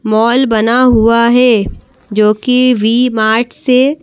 mall बना हुआ है जो कि वी मार्ट से--